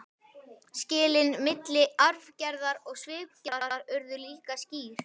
Skilin milli arfgerðar og svipgerðar urðu líka skýr.